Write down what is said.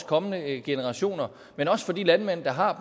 kommende generationer men også for de landmænd der har